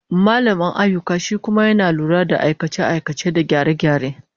Mallamin ayyuka shi kuma yana lura da aikace-aikace da gyare-gyare